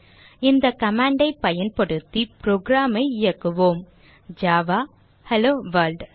இந்த command ஐ பயன்படுத்தி program ஐ இயக்குவோம் ஜாவா ஹெல்லோவொர்ல்ட்